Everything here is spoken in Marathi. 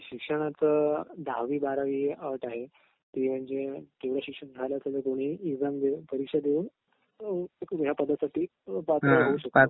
शिक्षणाचं दहावी बारावी अट आहे ती म्हणजे तुमचं शिक्षण झालं असेल तर दोन्ही एक्सामस आहे परीक्षा देऊन या पदासाठी पात्र होऊ शकता